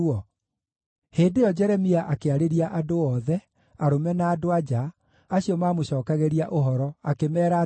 Hĩndĩ ĩyo Jeremia akĩarĩria andũ othe, arũme na andũ-a-nja, acio maamũcookagĩria ũhoro, akĩmeera atĩrĩ,